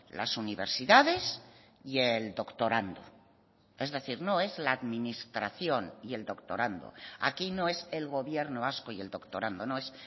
las universidades y el doctorando es decir no es la administración y el doctorando aquí no es el gobierno vasco y el doctorando no es